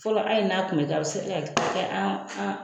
Fɔlɔ ali n'a tun bɛ kɛ, a bɛ se ka kɛ a an.